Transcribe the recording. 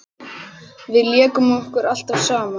Við lékum okkur alltaf saman.